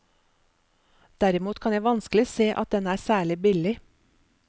Derimot kan jeg vanskelig se at den er særlig billig.